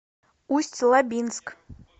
усть лабинск